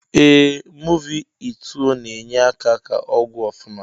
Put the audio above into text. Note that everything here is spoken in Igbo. Eeh movi ituo na enye aka ka ọgwụ ofụma.